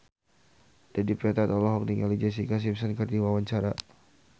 Dedi Petet olohok ningali Jessica Simpson keur diwawancara